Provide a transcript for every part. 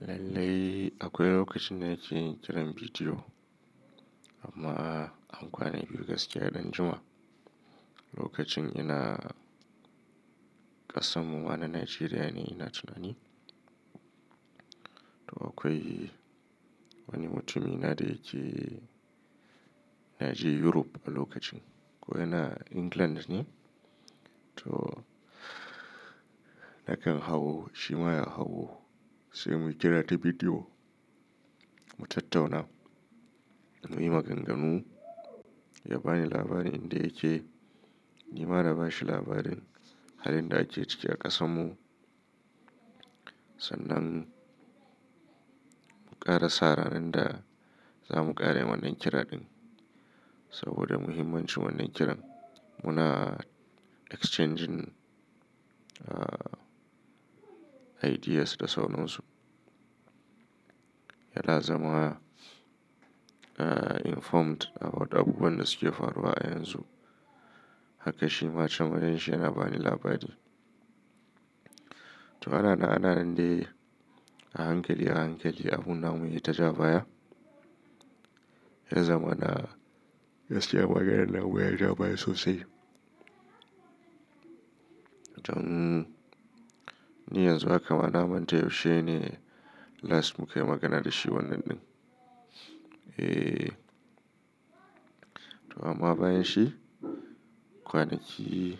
Lallai akwai lokacin na ke kiran bidiyo amma an kwana biyu gaskiya ya dan Juma'a. Lokacin ina ƙasanmu wa na Nigeria ne ina tunani. To akwai wani mutumi na da yake, na je Europe a lokacin. Koya na England ne. To nakan hawo, shi ma ya hawo sai mu kira ta bidiyo mu tattauna, mu yi maganganu, ya bani labari inda yake, ni ma na bashi labarin halin da ake ciki a ƙasanmu. Sannan mu ƙara sa ranar da za mu ƙara wannan kira ɗin saboda muhimmancin wannan kiran. Muna exchanging, ah, ideas da sauran su. Yana zama informed about abubuwan da suke faruwa a yanzu. Haka shi ma can wurin shi yana bani labari. To ana na'ana'an dai a hankali a hankali abun namu yi ta ja baya. Yana zama na gaskiya maganar nan ya jabaya sosai. To mmm, ni yanzu haka ma na manta yaushe ne last muka yi magana da shi wannan ɗin. Eh. To amma bayan shi kwanaki,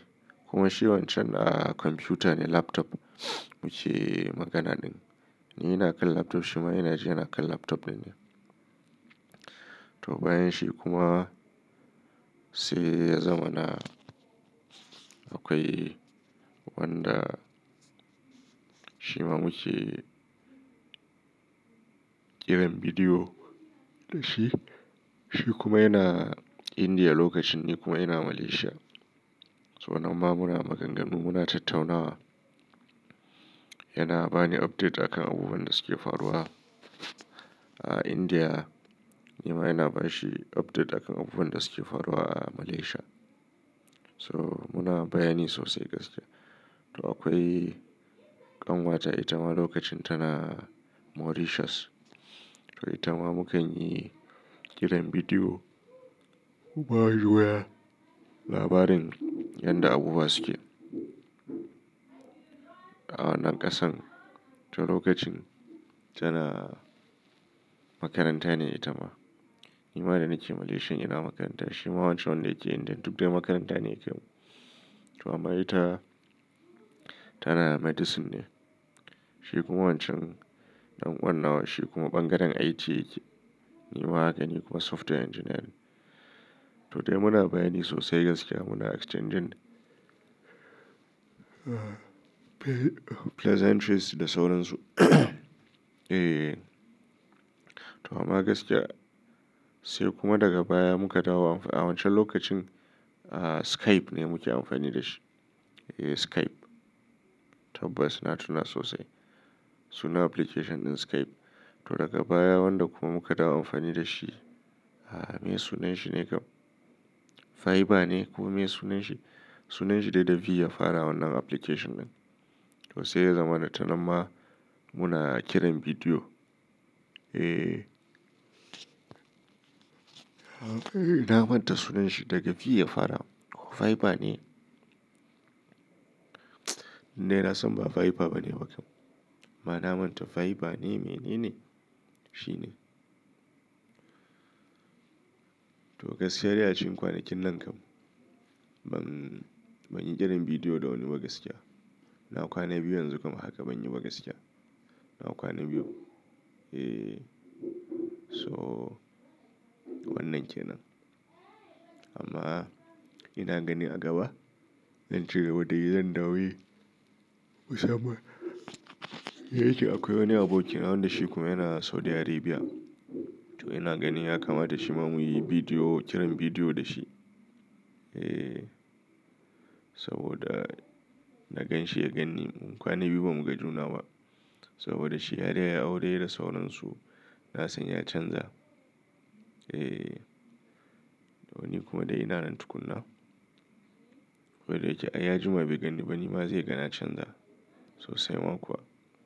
kuma shi wancan a kwamfuta ne laptop muke magana ɗin. Ni ina kallon laptop shi ma yana cewa ina kallon laptop ɗin ne. To bayan shi kuma sai ya zama na akwai wanda shi ma muke kiran bidiyo da shi. Shi kuma yana India lokacin, ni kuma ina Malaysia. To nan ma muna maganganu muna tattaunawa. Yana bani update a kan abubuwan da suke faruwa a India, ni ma yana bashi update a kan abubuwan da suke faruwa a Malaysia. So muna bayani sosai gaskiya. To akwai ƙanwata ita ma lokacin tana Mauritius. To ita ma mu kan yi kiran bidiyo mu ba ji waya labarin yadda abubuwa suke a wannan ƙasan. To lokacin tana makaranta ne ita ma. Ni ma da nike Malaysia ina makaranta. Shi ma wancan wanda yake India duk dai makaranta ne kam. To amma ita tana medicine ne. Shi kuma wancan ɗan uwar nan wa shi kuma ɓangaren IT yake. Ni ma haka ne kuma software engineer ne. To dai muna bayani sosai gaskiya muna exchanging pleasantries da sauran su. Eh. To amma gaskiya sai kuma daga baya muka dawo a wancan lokacin a Skype ne muke amfani da shi. Eh Skype. Tabbas na tuna sosai sunan application ɗin Skype. To daga baya wanda kuma muka dawo amfani da shi, a meye sunan shi ne kam? Viber ne ko meye sunan shi? Sunan shi da V ya fara wannan application ɗin. To sai ya zama na ta nan ma muna kiran bidiyo. Eh. Na manta sunan shi daga V ya fara. Viber ne? Ni na san ba Viber ba ne wa kam. Ma na manta Viber ne mene ne? Shi ne. To gaskiya dai a cikin kwanakin nan kam ban, ban yi kiran bidiyo da wani ba gaskiya. Na kwana biyu yanzu kuma haka ban yi gaskiya. Na kwana biyu. Eh. So wannan ke nan. Amma ina gani a gaba zan cire wadanni zan dawo yi musamman. Yake akwai wani aboki na wanda shi kuma yana Saudi Arabia. To ina gani ya kama da shi ma muyi bidiyo, kiran bidiyo da shi. Eh. Saboda na gan shi ya gan ni. Mu kwana biyu ba mu ga juna ba saboda shi har ya yi aure da sauran su. Na san ya canza. Eh. Da wani kuma da yana nan tukuna. Ko da yake ai ya jima bai ganni ba ni ma zai gani na canza sosai ma kuwa.